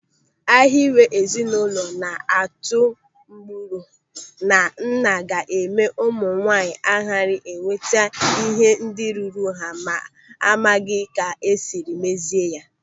Ịhiwe ezinụlọ na-atụ agbụrụ na nna ga-eme ụmụ nwaanyị ghara ịnweta ihe ndị ruru ha ma a maghị ka esiri mezie ya.